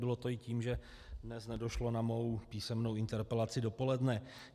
Bylo to i tím, že dnes nedošlo na mou písemnou interpelaci dopoledne.